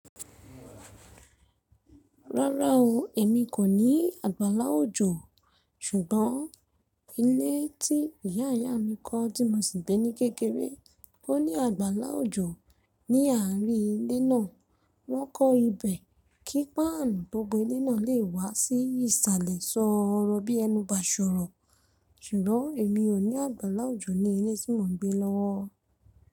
Rárá o, èmi kò ní àgbàlá òjò. Ṣùgbọ́n ilé tí ìyá ìyá mi kọ́ tí mo sì ń gbé ní kékeré ó ní àgbàlá òjò. Ni àárín ilé náà, wọ́n kọ́ ibẹ̀ kí páànù tó bò ilé náà lè wá sí ìsàlẹ̀ sọ́rọ̀ bí ẹnu bá ṣọ̀rọ̀. Ṣùgbọ́n èmi ò ní àgbàlá òjò ní ilé tí mò ń gbé lọ́wọ́.